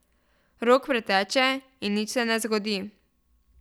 Rok preteče in nič se ne zgodi.